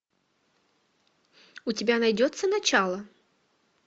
у тебя найдется начало